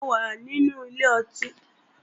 Mo wà nínú ilé ọtí